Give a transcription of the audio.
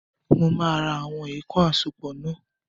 Mo ma ra àwọn èèkàn àsopọ̀ náà.